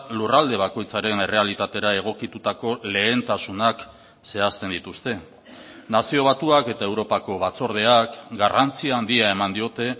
lurralde bakoitzaren errealitatera egokitutako lehentasunak zehazten dituzte nazio batuak eta europako batzordeak garrantzi handia eman diote